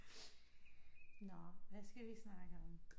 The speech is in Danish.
Nå hvad skal vi snakke om